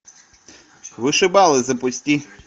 вышибалы запусти